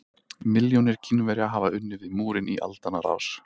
Milljónir Kínverja hafa unnið við múrinn í aldanna rás.